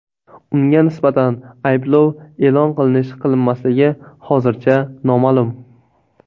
Unga nisbatan ayblov e’lon qilinish-qilinmasligi hozircha noma’lum.